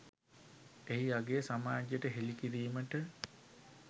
එහි අගය සමාජයට හෙළි කිරීමට